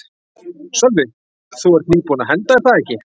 Sölvi: Þú ert nýbúin að henda er það ekki?